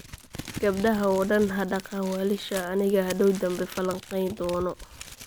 Gabadaha oo dan hadaqan waalishaa, anigaa hadoow danbe falanqeyn dono